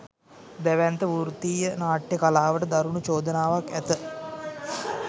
දැවැන්ත වෘත්තීය නාට්‍ය කලාවට දරුණු චෝදනාවක් ඇත